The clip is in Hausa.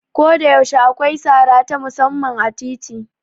Koda yaushe akwai sara ta musamman a titi.